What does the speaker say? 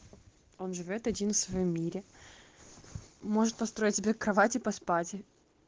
он живёт один в своём мире может построить себе кровати поспать и